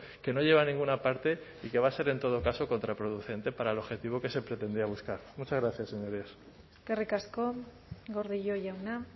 que no lleva a ninguna parte y que va a ser en todo caso contraproducente para el objetivo que se pretendía buscar muchas gracias señorías eskerrik asko gordillo jauna